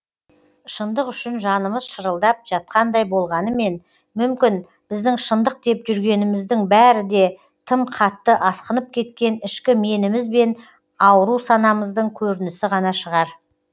шындық үшін жанымыз шырылдап жатқандай болғанымен мүмкін біздің шындық деп жүргеніміздің бәрі де тым қатты асқынып кеткен ішкі меніміз бен ауру санамыздың көрінісі ғана шығар